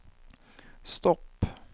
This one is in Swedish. stopp